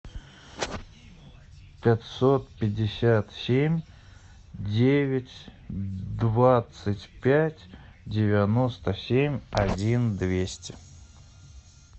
пятьсот пятьдесят семь девять двадцать пять девяносто семь один двести